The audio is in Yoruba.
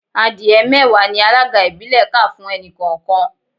Adìẹ mẹ́wàá ni alága ìbílẹ̀ kà fún ẹnì kọ̀ọ̀kan